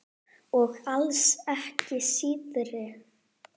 Og alls ekki síðri.